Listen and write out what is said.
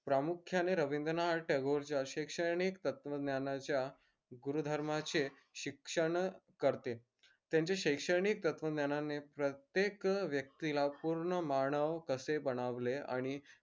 प्रामुख्याने रवींद्रनाथ टागोरच्या शैक्षणिक तत्व ज्ञानाच्या गुरुधर्माचे शिक्षण करते त्यांचे शैक्षणिक तत्व ज्ञानाने प्रत्येक व्यक्तीला पूर्ण मानव कसे बनवले आणि